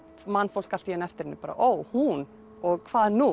man fólk allt í einu eftir henni ó hún og hvað nú